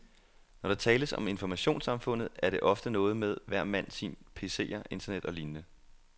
Når der tales om informationssamfundet, er det ofte noget med, hver mand sin pcer, internet og lignende.